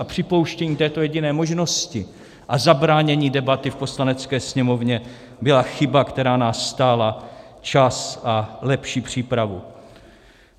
A připouštění této jediné možnosti a zabránění debaty v Poslanecké sněmovně byla chyba, která nás stála čas a lepší přípravu.